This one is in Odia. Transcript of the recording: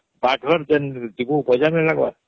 ବାଘର ଯେନ ଜୀବହୂ ବଜାଣିଲା ବା